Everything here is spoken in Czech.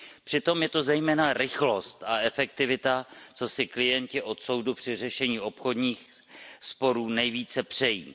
Přitom je to zejména rychlost a efektivita, co si klienti od soudu při řešení obchodních sporů nejvíce přejí.